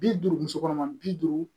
Bi duuru muso kɔnɔma bi duuru